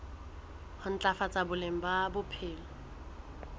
ho ntlafatsa boleng ba bophelo